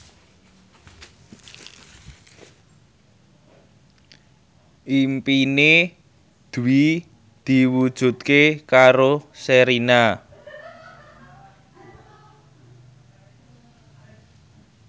impine Dwi diwujudke karo Sherina